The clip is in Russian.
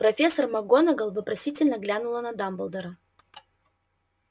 профессор макгонагалл вопросительно глянула на дамблдора